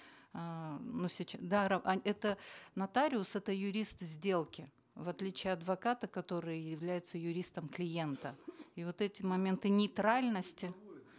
эээ это нотариус это юрист сделки в отличие от адвоката который является юристом клиента и вот эти моменты нейтральности